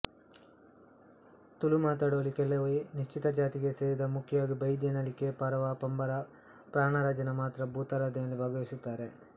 ತುಳು ಮಾತನಾಡುವಲ್ಲಿ ಕೆಲವೇ ನಿಶ್ಚಿತ ಜಾತಿಗೆ ಸೇರಿದಮುಖ್ಯವಾಗಿ ಬೈದ್ಯ ನಲಿಕೆ ಪರವ ಪಂಬರ ಪಾಣಾರಜನ ಮಾತ್ರ ಭೂತಾರಾಧನೆಯಲ್ಲಿ ಭಾಗವಹಿಸುತ್ತಾರೆ